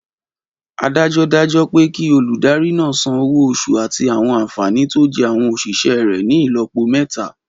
Adájọ́ dájọ́ pé kí olùdarí náà san owó oṣù àti àwọn ànfàní tó jẹ́ àwọn òṣìṣẹ́ rẹ̀ ní ìlọ́po mẹ́ta